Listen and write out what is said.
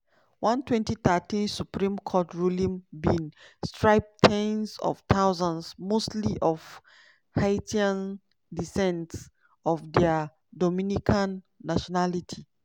one 2013 supreme court ruling bin strip ten s of thousands - mostly of haitian descent - of dia dominican nationality.